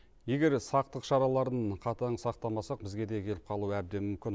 егер сақтық шараларын қатаң сақтамасақ бізге де келіп қалуы әбден мүмкін